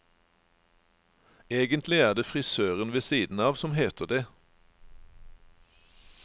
Egentlig er det frisøren ved siden av som heter det.